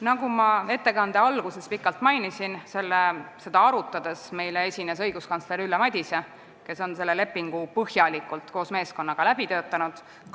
Nagu ma ettekande alguses pikalt mainisin, esines meile seda arutades õiguskantsler Ülle Madise, kes on selle lepingu põhjalikult koos meeskonnaga läbi töötanud.